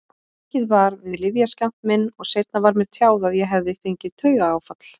Aukið var við lyfjaskammt minn og seinna var mér tjáð að ég hefði fengið taugaáfall.